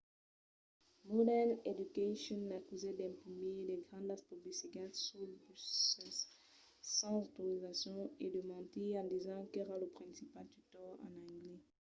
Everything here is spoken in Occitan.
modern education l'acusèt d'imprimir de grandas publicitats suls buses sens autorizacion e de mentir en disent qu'èra lo principal tutor en anglés